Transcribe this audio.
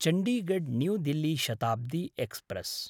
Chandigarh New Delhi Shatabdi express